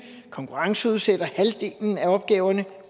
konkurrenceudsætter halvdelen af opgaverne